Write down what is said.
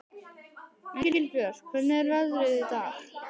Engilbjört, hvernig er veðrið í dag?